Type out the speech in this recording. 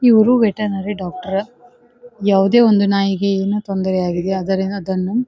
ಇವ್ರು veterinary doctor ಯಾವದೇ ಒಂದು ನಾಯಿಗೆ ಏನೋ ತೊಂದರೆ ಆಗಿದೆ ಅದರಿಂದ ಅದನ್ನು --